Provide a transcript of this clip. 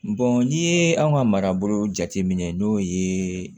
n'i ye an ka marabolo jateminɛ n'o ye